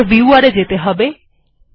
এরপর viewer এ যেতে হবে